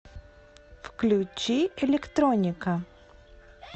включи электроника